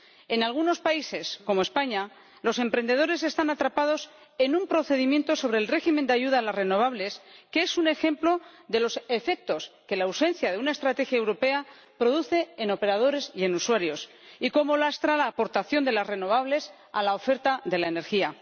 En algunos países, como España, los emprendedores están atrapados en un procedimiento sobre el régimen de ayuda a las renovables, que es un ejemplo de los efectos que la ausencia de una estrategia europea produce en operadores y en usuarios, y de cómo lastra la aportación de las renovables a la oferta de la energía.